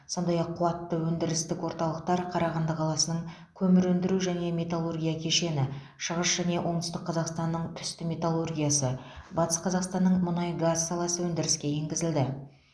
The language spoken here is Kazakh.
сондай ақ қуатты өндірістік орталықтар қарағанды қаласының көмір өндіру және металлургия кешені шығыс және оңтүстік қазақстанның түсті металлургиясы батыс қазақстанның мұнай газ саласы өндіріске енгізілді